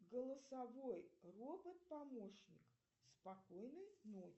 голосовой робот помощник спокойной ночи